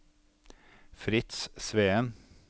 Fritz Sveen